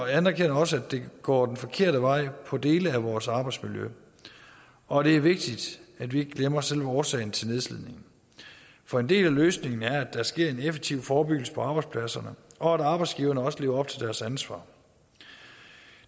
anerkender også at det går den forkerte vej for dele af vores arbejdsmiljø og det er vigtigt at vi ikke glemmer selve årsagen til nedslidningen for en del af løsningen er at der sker en effektiv forebyggelse på arbejdspladserne og at arbejdsgiverne også lever op til deres ansvar